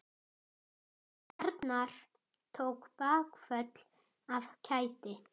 Arnar tók bakföll af kæti.